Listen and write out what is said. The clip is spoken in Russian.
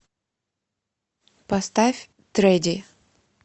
поставь тредди